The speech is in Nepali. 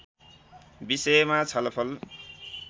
विषयमा छलफल